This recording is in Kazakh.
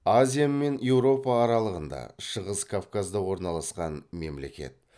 азия мен еуропа аралығында шығыс кавказда орналасқан мемлекет